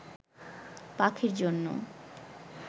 পাখির জন্য